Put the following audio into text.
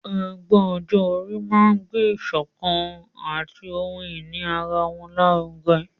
Ẹgbẹ́ ọjọ́ orí máa ń gbé ìsọ̀kan àti ohun ìní ara wọn lárugẹ.